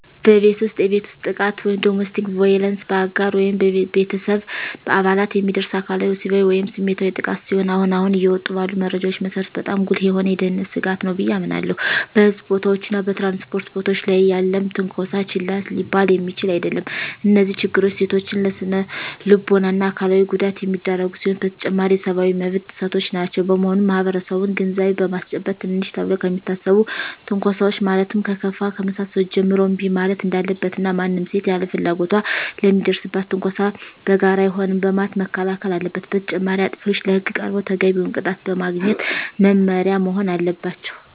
በቤት ውስጥ የቤት ውስጥ ጥቃት (Domestic Violence): በአጋር ወይም በቤተሰብ አባላት የሚደርስ አካላዊ፣ ወሲባዊ ወይም ስሜታዊ ጥቃት ሲሆን አሁን አሁን እየወጡ ባሉ መረጃዎች መሰረት በጣም ጉልህ የሆነ የደህንነት ስጋት ነው ብየ አምናለሁ። በሕዝብ ቦታዎች እና በ ትራንስፖርት ቦታወች ላይ ያለም ትነኮሳ ችላ ሊባል የሚችል አደለም። እነዚህ ችግሮች ሴቶችን ለስነልቦና እና አካላዊ ጉዳት የሚዳርጉ ሲሆኑ በተጨማሪም የሰብአዊ መብት ጥሰቶችም ናቸው። በመሆኑም ማህበረሰቡን ግንዛቤ በማስጨበጥ ትንንሽ ተብለው ከሚታሰቡ ትንኮሳወች ማለትም ከለከፋ ከመሳሰሉት ጀምሮ እንቢ ማለት እንዳለበት እና ማንም ሴት ያለ ፍላጎቷ ለሚደርስባት ትንኮሳ በጋራ አይሆንም በማለት መከላከል አለበት። በተጨማሪም አጥፊዎች ለህግ ቀርበው ተገቢውን ቅጣት በማግኘት መማሪያ መሆን አለባቸው።